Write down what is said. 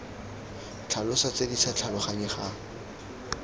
tlhalosa tse di sa tlhaloganyegang